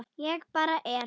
Ég bara er.